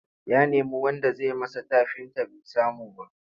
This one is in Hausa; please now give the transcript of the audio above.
Ya nemi wanda zai masa tafinta bai samu ba.